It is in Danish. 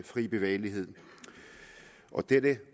fri bevægelighed dette